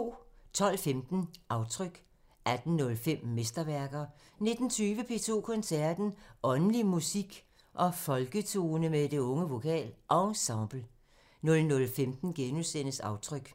12:15: Aftryk 18:05: Mesterværker 19:20: P2 Koncerten – Åndelig musik og folketone med Det Unge VokalEnsemble 00:15: Aftryk *